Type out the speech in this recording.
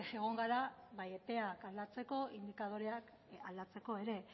egon gara bai epea aldatzeko indikadoreak aldatzeko ere